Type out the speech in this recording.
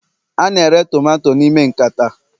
a na-ere tomato n'ime nkata